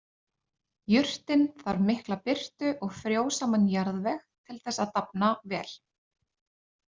Jurtin þarf mikla birtu og frjósaman jarðveg til þess að dafna vel.